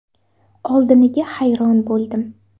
Oldiniga hayron bo‘ldim.